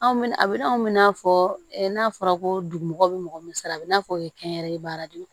Anw a bɛ na anw mina fɔ n'a fɔra ko dugu mɔgɔw bɛ mɔgɔ min sara a bɛ n'a fɔ o ye kɛnyɛrɛye baara de ye